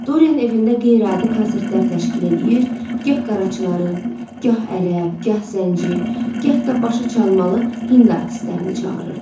Dorian evində qeyri-adi konsertlər təşkil eləyir, gah qaraçıları, gah ərəb, gah zənci, gah da başı çalmalı hind artistlərini çağırırdı.